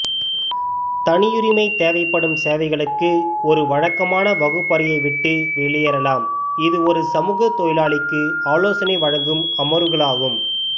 தனியுரிமை தேவைப்படும் சேவைகளுக்கு ஒரு வழக்கமான வகுப்பறையை விட்டு வெளியேறலாம் இது ஒரு சமூக தொழிலாளிக்கு ஆலோசனை வழங்கும் அமர்வுகளாகும்